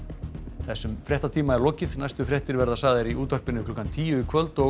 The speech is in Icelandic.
þessum fréttatíma er lokið næstu fréttir verða sagðar í útvarpi klukkan tíu í kvöld og